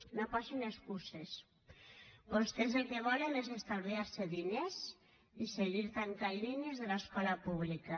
no posin excuses vostès el que volen és estalviar se diners i seguir tancant línies de l’escola pública